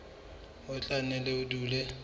ho tla nne ho dule